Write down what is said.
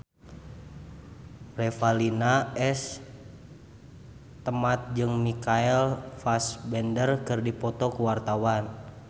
Revalina S. Temat jeung Michael Fassbender keur dipoto ku wartawan